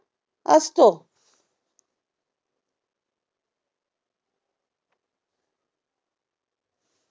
असतो.